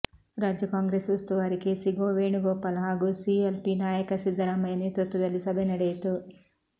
ರಾಜ್ಯ ಕಾಂಗ್ರೆಸ್ ಉಸ್ತುವಾರಿ K C Venugopal ಹಾಗೂ ಸಿ ಎಲ್ ಪಿ ನಾಯಕ ಸಿದ್ದರಾಮಯ್ಯ ನೇತೃತ್ವದಲ್ಲಿ ಸಭೆ ನಡೆಯಿತು